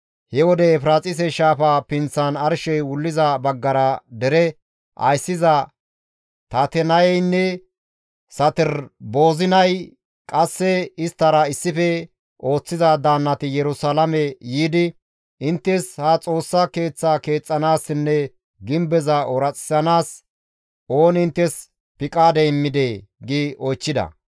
He wode Efiraaxise shaafa pinththan arshey wulliza baggara dere ayssiza Tatenayeynne Saterboozinay qasseka isttara issife ooththiza daannati Yerusalaame yiidi «Inttes ha Xoossa Keeththa keexxanaassinne gimbeza ooraxisanaas ooni inttes piqaade immidee?» gi oychchida.